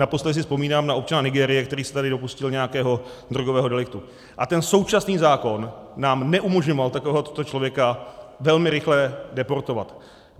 Naposledy si vzpomínám na občana Nigérie, který se tady dopustil nějakého drogového deliktu, a ten současný zákon nám neumožňoval takového člověka velmi rychle deportovat.